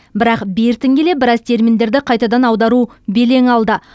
бірақ бертін келе біраз терминдерді қайтадан аудару белең алды